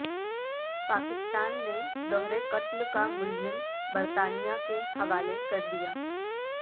پاکستان نے دہرے قتل کا ملزم برطانیہ کے حوالے کر دیا